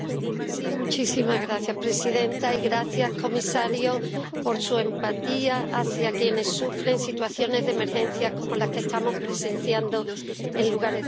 Señora presidenta. Gracias, comisario, por su empatía hacia quienes sufren situaciones de emergencia como las que estamos presenciando en lugares de Europa.